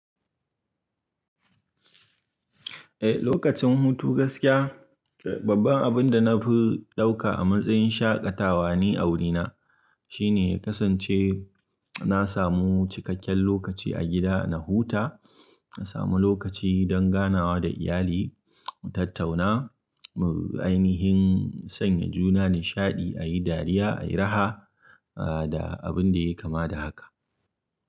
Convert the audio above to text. Eh, lokacin hutu gaskiya babban abinda nafi ɗauka a matsayin shaƙatawa ni a wurina. Shine ya kasance na samu cikakken lokaci a gida na huta, na samu lokaci don ganawa da iyali, mu tattauna, mu ainihin sanya juna nishaɗi, a yi dariya, a yi raha da abin da yai kama da haka.